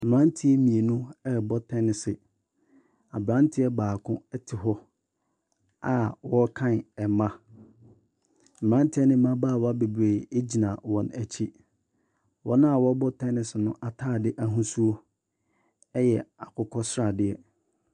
Mmeranteɛ mmienu ɛrebɔ tennis, aberanteɛ baako te hɔ a ɔrekan mba. Mmeranteɛ ne mmabaawa bebree gyina wɔn akyi. Wɔn a wɔreba tennis no ataadeɛ ahosuo yɛ akokɔsradeɛ.